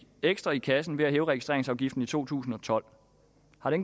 ekstra i kassen ved at hæve registreringsafgiften i to tusind og tolv